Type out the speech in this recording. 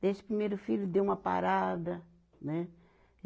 Desse primeiro filho deu uma parada, né?